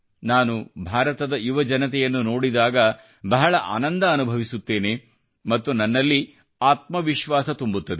ನಾನು ಭಾರತದ ಯುವಜನತೆಯನ್ನು ನೋಡಿದಾಗ ಬಹಳ ಆನಂದವನ್ನು ಅನುಭವಿಸುತ್ತೇನೆ ಮತ್ತು ನನ್ನಲ್ಲಿ ಆತ್ಮವಿಶ್ವಾಸ ತುಂಬುತ್ತದೆ